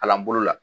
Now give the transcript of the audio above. Kalan bolo la